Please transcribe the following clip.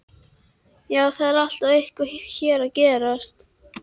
Já, það er alltaf eitthvað hér að gerast.